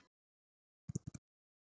En þú ert víst elsti strákurinn hennar